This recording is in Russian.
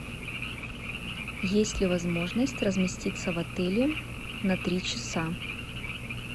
есть ли возможность разместиться в отеле на три часа